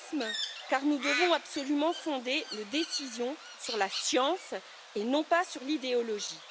Réalisme, car nous devons absolument fonder nos décisions sur la science, et non pas sur l'idéologie.